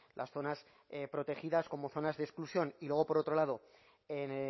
las zonas protegidas como zonas de exclusión y luego por otro lado en